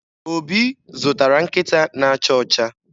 Obi zụtara nkịta na-acha ọcha.